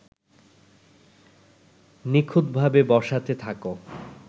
নিখুঁতভাবে বসাতে থাকো